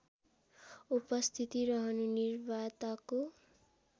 उपस्थिति रहनु निवार्ताको